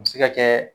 A bɛ se ka kɛ